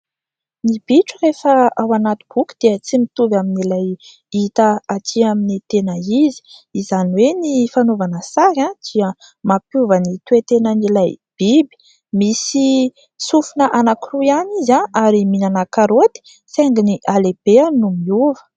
Ny bitro rehefa ao anaty boky dia tsy mitovy amin'ilay hita atỳ amin'ny tena izy. Izany hoe ny fanaovana sary dia mampiova ny toe-tenan'ilay biby. Misy sofina anankiroa ihany izy ary mihinana karoty saingy ny halehibeazany no miova.